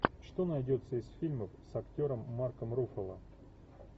что найдется из фильмов с актером марком руффало